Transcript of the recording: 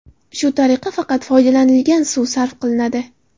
Shu tariqa faqat foydalanilgan suv sarf qilinadi.